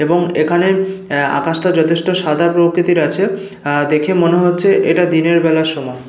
এবং এখানে এহ আকাশটা যথেষ্ট সাদা প্রকৃতির আছে। আহ দেখে মনে হচ্ছে এটা দিনের বেলার সময়।